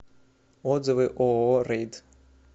отзывы ооо рейд